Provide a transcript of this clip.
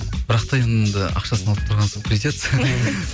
бірақ та енді ақшасын алып тұрған соң придется